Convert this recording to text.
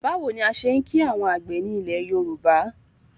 Báwo ni a ṣe ń kìí àwọn àgbẹ̀ ni ilẹ̀ Yorùbá?